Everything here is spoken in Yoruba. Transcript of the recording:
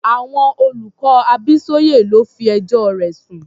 Àwọn olùkọ́ Abísóyè ló fi ẹjọ́ rẹ̀ sùn.